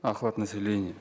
охват населения